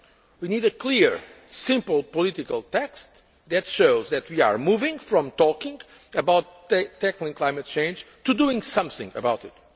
We need a clear, simple political text that shows that we are moving from talking about tackling climate change to doing something about